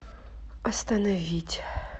остановить